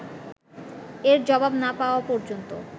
এর জবাব না পাওয়া পর্যন্ত